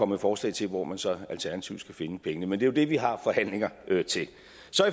med forslag til hvor man så alternativt skal finde pengene men det er jo det vi har forhandlinger til